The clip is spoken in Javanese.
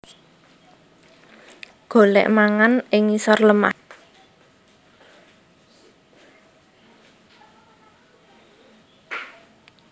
Golèk mangan ing ngisor lemah